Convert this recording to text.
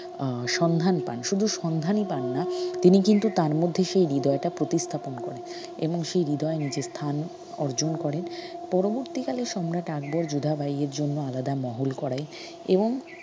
আহ সন্ধান পান শুধু সন্ধানই পান না তিনি কিন্তু তার মধ্যে সেই হৃদয়টা প্রতিস্থাপন করেন এবং সেই হৃদয়ে নিজের স্থান অর্জন করেন পরবর্তিকালে সম্রাট আকবর যোধাবাই এর জন্য আলাদা মহল করেন এবং